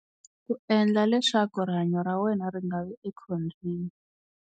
Ku endla leswaku rihanyo ra wena ri nga vi ekhombyeni.